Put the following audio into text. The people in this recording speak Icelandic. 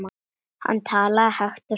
Hann talaði hægt og skýrt.